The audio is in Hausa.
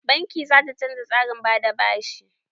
Banki za ta canja tsarin ba da bashi.